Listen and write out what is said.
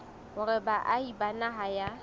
hore baahi ba naha ya